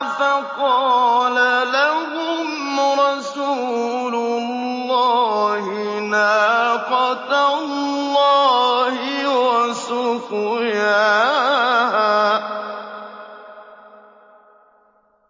فَقَالَ لَهُمْ رَسُولُ اللَّهِ نَاقَةَ اللَّهِ وَسُقْيَاهَا